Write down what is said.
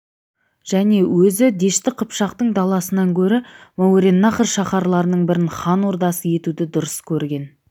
және өзі дәшті қыпшақтың даласынан көрі мауреннахр шаһарларының бірін хан ордасы етуді дұрыс көрген